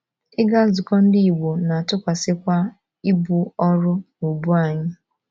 Ịga nzukọ Ndị Igbo na - atụkwasịkwa ibu ọrụ n’ubu anyị.